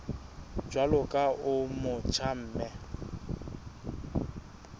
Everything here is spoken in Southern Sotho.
jwalo ka o motjha mme